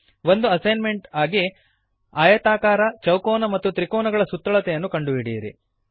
ಒಂದು ಅಸೈನ್ಮೆಂಟ್ ಎಂದು ಆಯತಾಕಾರ ಚೌಕೋನ ಮತ್ತು ತ್ರಿಕೋನಗಳ ಸುತ್ತಳತೆಯನ್ನು ಕಂಡುಹಿಡಿಯಿರಿ